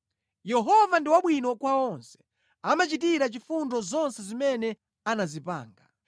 Yehova ndi wabwino kwa onse; amachitira chifundo zonse zimene anazipanga.